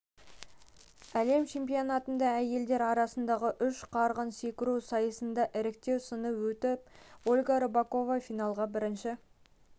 хіі әлем чемпионатында әйелдер арасындағы үш қарғып секіру сайысынан іріктеу сыны өтіп ольга рыпакова финалға бірінші